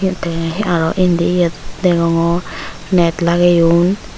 te aro indiyot degongor net lageyon.